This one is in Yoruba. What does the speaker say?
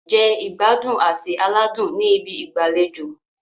Jẹ ìgbádùn àsè aládùn ní ibi ìgbàlejò.